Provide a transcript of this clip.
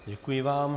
Děkuji vám.